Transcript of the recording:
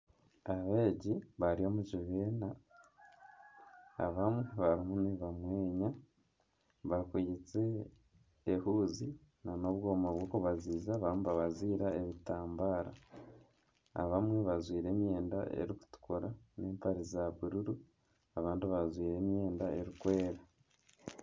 Abeegi bari omu kibiina abandi barimu nibamweya bakwitse ehuuzi nana obwoma bw'okubaziiza barimu nibabaziira ebitambara abamwe bajwaire emyenda erikutukura n'empare zaabururu abandi bajwaire emyenda erikwera